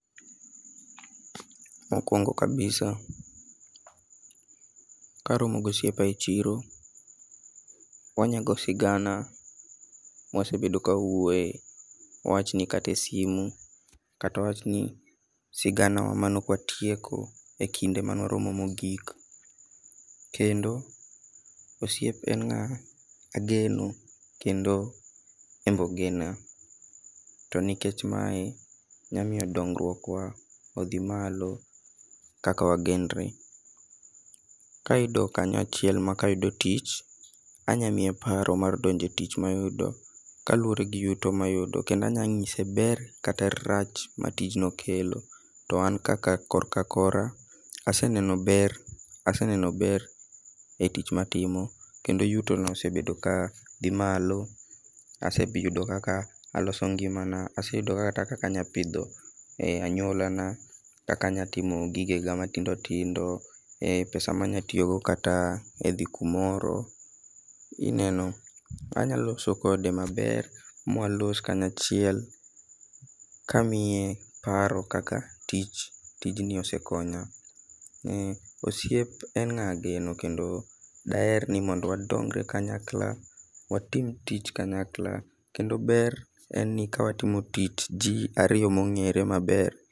Mokwongo kabisa, ka aromo gi osiepa e chiro, wanyago sigana ma wasebedo ka wawuoye. Wawachni kata e simu, kata wawachni sigana wa maneokwatieko e kinde mane waromo mogik. Kendo, osiep en ngá ageno, en bende ogena. To nikech mae, nyalo miyo dongruok wa odhi malo kaka wagenre. Kayudo kanyo achiel ma kayudo tich, anyamie paro mar donjo e tich mayudo, kaluwore gi yuto mayudo. Kendo anya ngíse ber kata rach ma tijno kelo. To an kaka korka kora, aseneno ber, aseneno ber e tich matimo. Kendo yutona osebedo ka dhi malo, aseyudo kaka aloso ngimana. Aseyudo kaka kata anyalo pidho e anywolana. Kaka anyalo timo gigena matindo tindo. um pesa ma anyalo tiyogo kata dhi kamoro ineno. Anyalo loso kode maber, mwalos kanyachiel, kamiye paro kaka tich, tijni osekonya. Ni osiep en ngá ageno, kendo daher ni mondo wadongre kanyakla, watim tich kanyakla. Kendo ber en ni kawatimo tich ji ariyo mongére maber.